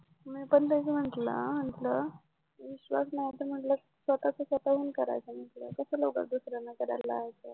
मी पण तेच म्हटलं विश्वास नव्हता म्हटलं तर स्वतःचा स्वतःहून करायचा म्हटलं कशाला उगाच दुसऱ्याला कराय लावायचं